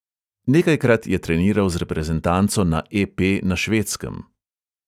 Nekajkrat je treniral z reprezentanco na EP na švedskem.